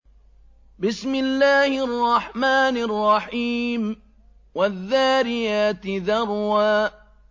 وَالذَّارِيَاتِ ذَرْوًا